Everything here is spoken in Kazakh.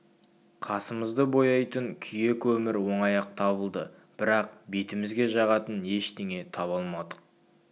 қасы-көзімізді бояйтын күйе-көмір оңай-ақ табылды бірақ бетімізге жағатын ештеңе таба алмадық